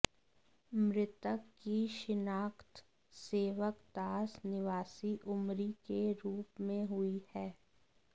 मृतक की शिनाख्त सेवकदास निवासी उमरी के रूप में हुई है